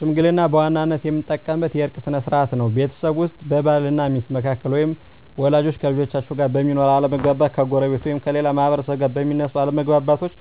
ሽምግልና በዋናነት የምንጠቀምበት የእርቅ ስነ ስርዓት ነው። ቤተሰብ ውስጥ በባል እና ሚስት መካከል ወይም ወላጆች ከልጆቻቸው ጋር በሚኖር አለመግባባት፣ ከጎረቤት ወይም ከሌላ ማህበረሰብ ጋር በሚነሱ አለመግባባቶች